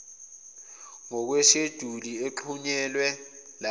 ngokwesheduli exhunyelwe lapha